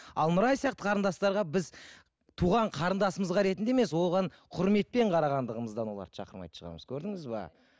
ал нұрай сияқты қарындастарға біз туған қарындасымызға ретінде емес оған құрметпен қарағандығымыздан оларды шақырмайтын шығармыз көрдіңіз бе